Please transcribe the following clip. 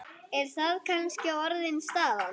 Er það kannski orðin staðan?